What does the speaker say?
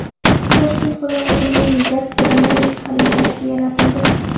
Toshkent viloyatining gastronomik xaritasi yaratildi.